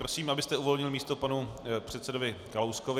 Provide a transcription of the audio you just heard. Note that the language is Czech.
Prosím, abyste uvolnil místo panu předsedovi Kalouskovi.